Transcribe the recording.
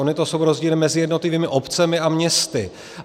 Ony to jsou rozdíly mezi jednotlivými obcemi a městy.